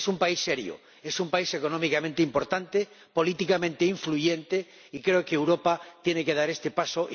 Es un país serio, es un país económicamente importante, políticamente influyente, y creo que Europa tiene que dar este paso.